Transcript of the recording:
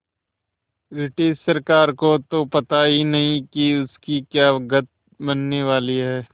British सरकार को तो पता ही नहीं कि उसकी क्या गत बनने वाली है